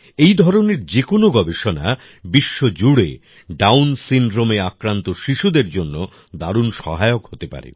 এই ধরনের যেকোনো গবেষণা বিশ্বজুড়ে ডাউন সিনড্রোমে আক্রান্ত শিশুদের জন্য দারুন সহায়ক হতে পারে